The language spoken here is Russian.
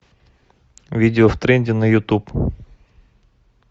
видео в тренде на ютуб